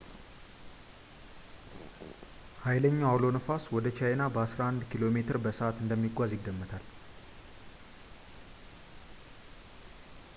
ኃይለኛው አውሎ ነፋስ ወደ ቻይኛ በአስራ አንድ ኪሜ በሰዓት እንደሚጓዝ ይገመታል